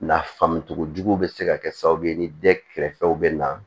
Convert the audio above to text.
Nafamogo juguw bɛ se ka kɛ sababu ye ni den kɛrɛfɛw bɛ na